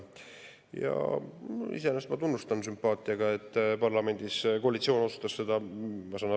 Ja iseenesest ma tunnustan sümpaatiaga, et parlamendis koalitsioon otsustas seda toetada.